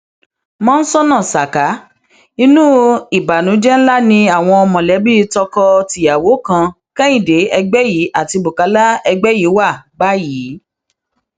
mọńsónà saka inú ìbànújẹ ńlá ni àwọn mọlẹbí tọkọ tíyàwó kan kehinde egbẹyí àti bukola egbẹyí wà báyìí